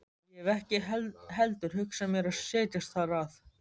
Ég hef ekki heldur hugsað mér að setjast þar að.